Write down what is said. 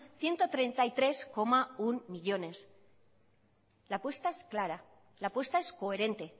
ciento treinta y tres coma uno millónes la apuesta es clara la apuesta es coherente